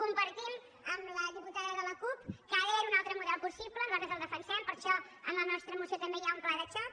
compartim amb la diputada de la cup que ha d’haver hi un altre model possible nosaltres el defensem per això en la nostra moció també hi ha un pla de xoc